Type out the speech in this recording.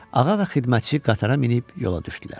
Ağa və xidmətçi qatara minib yola düşdülər.